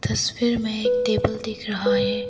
तस्वीर में एक टेबल दिख रहा है।